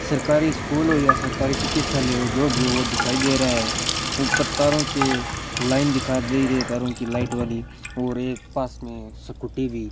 सरकारी स्कूल हो या सरकारी चिकित्सालय हो जो भी वह दिखाई दे रहा है ऊपर तारों से लाइन दिखा दे रे तारों की लाइट वाली और एक पास में स्कूटी भी --